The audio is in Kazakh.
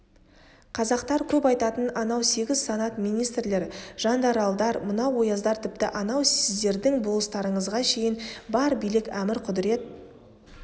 қазақтар көп айтатын анау сегіз санат министрлер жандаралдар мынау ояздар тіпті анау сіздердің болыстарыңызға шейін бар билік әмір-құдірет